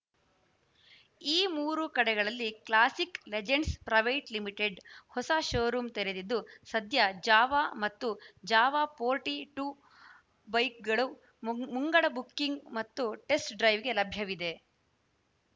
ಈ ಮೂರು ಕಡೆಗಳಲ್ಲಿ ಕ್ಲಾಸಿಕ್‌ ಲೆಜೆಂಡ್ಸ್‌ ಪ್ರೈವೇಟ್‌ ಲಿಮಿಟೆಡ್‌ ಹೊಸ ಶೋರೂಂ ತೆರೆದಿದ್ದು ಸದ್ಯ ಜಾವಾ ಮತ್ತು ಜಾವಾ ಫೋರ್ಟಿ ಟೂ ಬೈಕ್‌ಗಳು ಮುಂಗಡ ಬುಕ್ಕಿಂಗ್‌ ಮತ್ತು ಟೆಸ್ಟ್‌ ಡ್ರೈವ್‌ಗೆ ಲಭ್ಯವಿವೆ